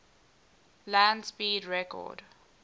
land speed record